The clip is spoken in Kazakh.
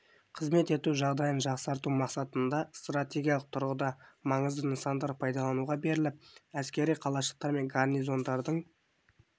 қызмет ету жағдайын жақсарту мақсатында стратегиялық тұрғыда маңызды нысандар пайдалануға беріліп әскери қалашықтар мен гарнизондардың